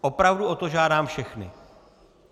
Opravdu o to žádám všechny.